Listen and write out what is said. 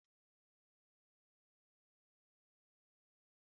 Njakịrị ya atọchaghikwa ọchị